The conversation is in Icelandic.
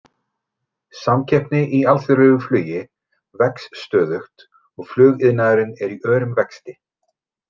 Samkeppni í alþjóðlegu flugi vex stöðugt og flugiðnaðurinn er í örum vexti.